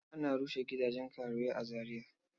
Ana rushe gidajen karuwai a Zariya.